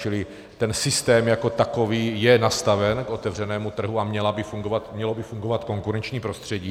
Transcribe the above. Čili ten systém jako takový je nastaven k otevřenému trhu a mělo by fungovat konkurenční prostředí.